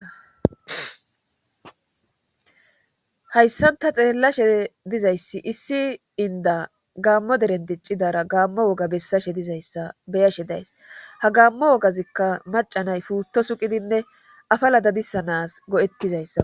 hayssan ta xeellashe dizayssi issi inda gaammo derendiccidara gaammo woga bessashe dizayssa beyashe days ha gaammo wogazikka macanay puutto suqidinne afala dadisanas go7ettizayssa